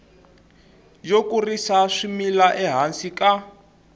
yo kurisa swimila ehansi ka